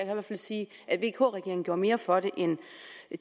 i hvert fald sige at vk regeringen gjorde mere for det end